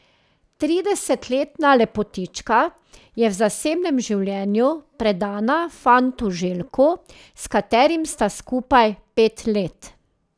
Tridesetletna lepotička je v zasebnem življenju predana fantu Željku, s katerim sta skupaj pet let.